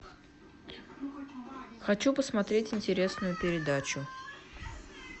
хочу посмотреть интересную передачу